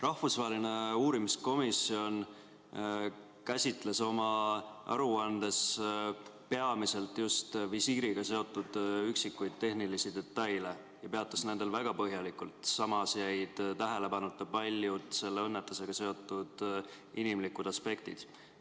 Rahvusvaheline uurimiskomisjon käsitles oma aruandes peamiselt just visiiriga seotud üksikuid tehnilisi detaile ja peatus nendel väga põhjalikult, samas jäid tähelepanuta paljud selle õnnetusega seotud inimlikud aspektid.